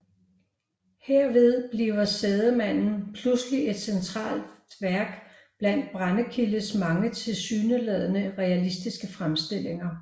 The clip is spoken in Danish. Herved bliver Sædemanden pludselig et centralt værk blandt Brendekildes mange tilsyneladende realistiske fremstillinger